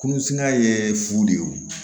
Kurunsunŋa ye fu de ye wo